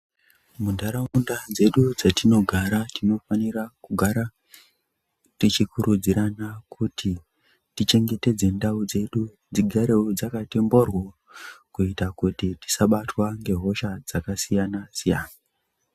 Muntaraunda dzedu dzetinogara tinofanira kugara tichikurudzirana kuti tichengetedze ndau dzedu dzigarewo dzakati mhoryo kuita kuti tisabatwa ngehosha dzakasiyana-siyana.